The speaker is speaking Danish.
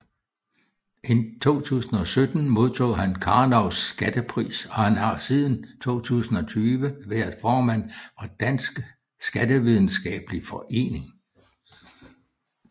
I 2017 modtog han Karnovs Skattepris og han har siden 2020 været formand for Dansk Skattevidenskabelig Forening